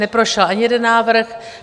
Neprošel ani jeden návrh.